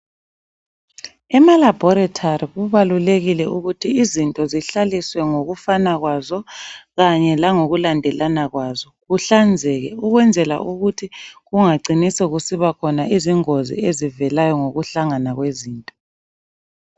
Emalabhorethari kubalulekile ukuthi izinto zihlaliswe ngokufana kwazo kanye langokulandelana kwazo kuhlanzeke ukwenzela ukuthi kungacini sekusiba khona izingozi ezivelayo ngokuhlangana kwezinto.